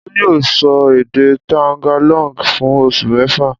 Olú yóò sọ èdè Tagalog fún oṣù mẹ́fà!